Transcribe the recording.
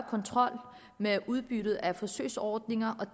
kontrol med udbyttet af forsøgsordninger